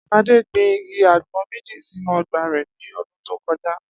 Adé gbin igi àgbo̩n méjì sínú o̩gbà rè̩ ní o̩dún tó ko̩já